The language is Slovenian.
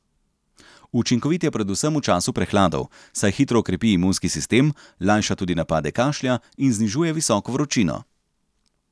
Učinkovit je predvsem v času prehladov, saj hitro okrepi imunski sistem, lajša tudi napade kašlja in znižuje visoko vročino.